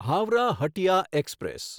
Howrah Hatia express